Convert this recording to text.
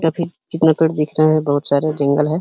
जितना अकड़ दिख रहा है बहोत सारे है।